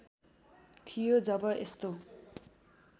थियो जब यस्तो